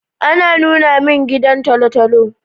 A nuna min gidan tolotolo